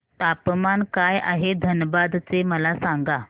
तापमान काय आहे धनबाद चे मला सांगा